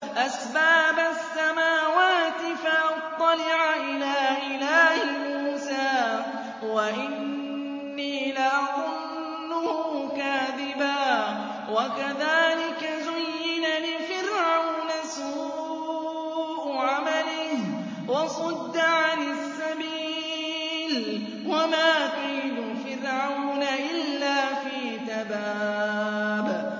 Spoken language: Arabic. أَسْبَابَ السَّمَاوَاتِ فَأَطَّلِعَ إِلَىٰ إِلَٰهِ مُوسَىٰ وَإِنِّي لَأَظُنُّهُ كَاذِبًا ۚ وَكَذَٰلِكَ زُيِّنَ لِفِرْعَوْنَ سُوءُ عَمَلِهِ وَصُدَّ عَنِ السَّبِيلِ ۚ وَمَا كَيْدُ فِرْعَوْنَ إِلَّا فِي تَبَابٍ